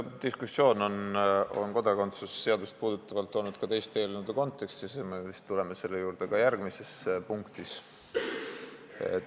See diskusioon on kodakondsuse seadust puudutavalt olnud esil ka teiste eelnõude kontekstis ja me vist tuleme selle juurde ka järgmises punktis.